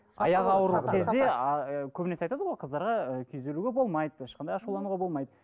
аяғы ауыр кезде ыыы көбінесе айтады ғой қыздарға ы күйзелуге болмайды ешқандай ашулануға болмайды